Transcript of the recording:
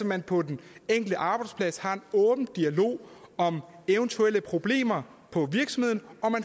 man på den enkelte arbejdsplads har en åben dialog om eventuelle problemer på virksomheden